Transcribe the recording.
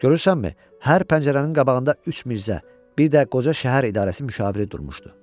Görürsənmi, hər pəncərənin qabağında üç Mirzə, bir də qoca şəhər idarəsi müşaviri durmuşdu.